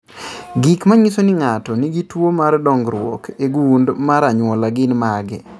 Gik manyiso ni ng'ato nigi tuwo mar dongruok e gund mar anyuola gin mage?